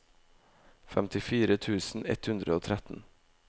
femtifire tusen ett hundre og tretten